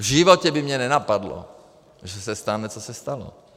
V životě by mě nenapadlo, že se stane, co se stalo.